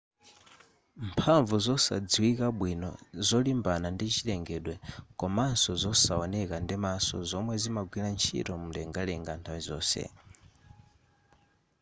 mphamvu zosadziwika bwino zolimbana ndi chilengedwe komanso zosaoneka ndimaso zomwe zimagwira ntchito mlengalenga nthawi zonse